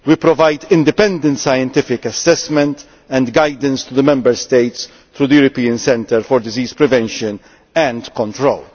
We provide independent scientific assessment and guidance to the Member States through the European Centre for Disease Prevention and Control.